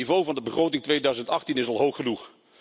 Het niveau van de begroting 2018 is al hoog genoeg.